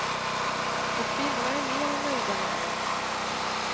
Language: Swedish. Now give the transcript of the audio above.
Och kvinnorna är mer än nöjda med dem.